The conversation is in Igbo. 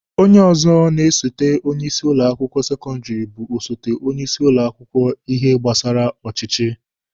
Onye ọzọ na-esote onye isi ụlọ akwụkwọ sekọndịrị bụ osote onye isi ụlọ akwụkwọ n'ihe gbasara ọchịchị.